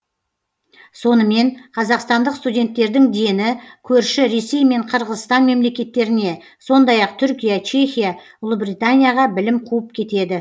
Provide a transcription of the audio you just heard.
сонымен қазақстандық студенттердің дені көрші ресей мен қырғызстан мемлекеттеріне сондай ақ түркия чехия ұлыбританияға білім қуып кетеді